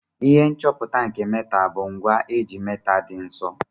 Ihe nchọpụta nke metal bu ngwa eji metal di nso.